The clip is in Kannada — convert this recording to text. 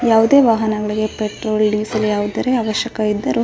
ಯಾವುದೇ ವಾಹನಗಳು ಪೆಟ್ರೋಲ್ ಡೀಸೆಲ್ ಯಾವುದೇ ಅವಶ್ಯಕತೆ ಇದ್ದಾರೆ --